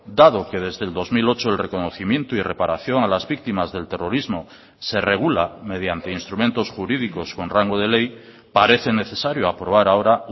dado que desde el dos mil ocho el reconocimiento y reparación a las víctimas del terrorismo se regula mediante instrumentos jurídicos con rango de ley parece necesario aprobar ahora